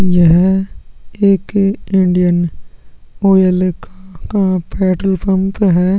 यह एक Indian Oil का पेट्रोल पंप हैं।